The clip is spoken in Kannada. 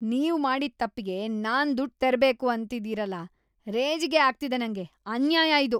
ನೀವ್‌ ಮಾಡಿದ್‌ ತಪ್ಪಿಗೆ ನಾನ್‌ ದುಡ್ಡ್‌ ತೆರ್ಬೇಕು ಅಂತಿದೀರಲ, ರೇಜಿಗೆ ಆಗ್ತಿದೆ ನಂಗೆ! ಅನ್ಯಾಯ ಇದು.